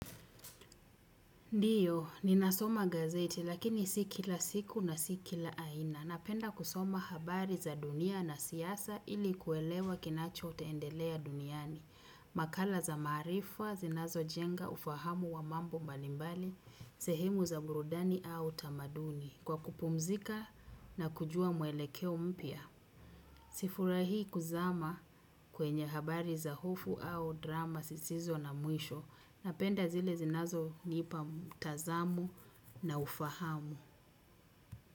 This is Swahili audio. Ndiyo, ninasoma gazeti lakini si kila siku na si kila aina. Napenda kusoma habari za dunia na siasa ili kuelewa kinacho endelea duniani. Makala za maarifa, zinazo jenga, ufahamu wa mambo mbalimbali, sehemu za burudani au tamaduni. Kwa kupumzika na kujua mwelekeo mpya. Si furahi kuzama kwenye habari za hofu au drama sisizo na mwisho. Napenda zile zinazo nipa mtazamu na ufahamu.